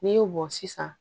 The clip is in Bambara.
N'i y'o bɔn sisan